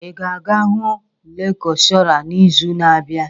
Ị ga-aga hụ lekshọra n'izu na-abịa!